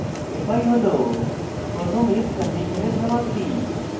fi হল প্রথম if condition সমাপ্তি